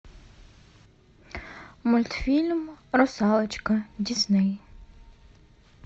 мультфильм русалочка дисней